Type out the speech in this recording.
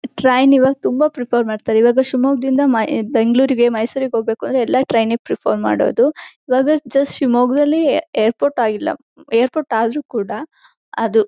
Train ಈವಾಗ ತುಂಬಾ prefer ಮಾಡತಾರೆ ಈವಾಗ ಶಿಮೊಗ್ಗದಿಂದ ಬೆಂಗಳೂರಿಗೆ ಮೈಸೂರ್ಗೆ ಹೋಗಬೇಕಕಂದ್ರೆ ಎಲ್ಲಾ ಟ್ರೈನ್ಗೆ ಪ್ರಿಫರ್ ಮಾಡೋದು ಈವಾಗ ಜಸ್ಟ್ ಶಿಮೊಗ್ಗದಲ್ಲಿ ಏರ್ಪೋರ್ಟ್ ಆಗಿಲ್ಲಾ ಏರ್ಪೋರ್ಟ್ ಆದ್ರೂ ಕೂಡ ಅದು.